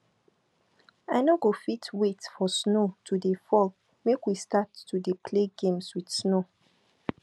i no go fit wait for snow to dey fall make we start to dey play games with snow